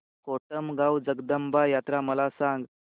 कोटमगाव जगदंबा यात्रा मला सांग